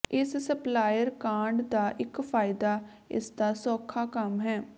ਇਸ ਸਪਲਾਇਰ ਕਾਢ ਦਾ ਇਕ ਫਾਇਦਾ ਇਸਦਾ ਸੌਖਾ ਕੰਮ ਹੈ